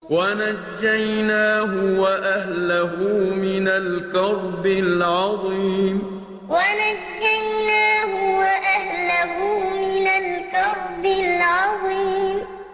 وَنَجَّيْنَاهُ وَأَهْلَهُ مِنَ الْكَرْبِ الْعَظِيمِ وَنَجَّيْنَاهُ وَأَهْلَهُ مِنَ الْكَرْبِ الْعَظِيمِ